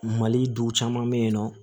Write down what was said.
Mali duw caman be yen nɔ